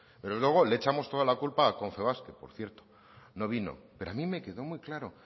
pero luego le echamos toda la culpa a confebask que por cierto no vino pero a mí me quedó muy claro